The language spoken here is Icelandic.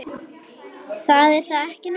En það er ekki nóg.